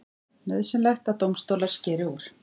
Nauðsynlegt að dómstólar skeri úr